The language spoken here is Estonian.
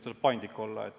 Tuleb paindlik olla.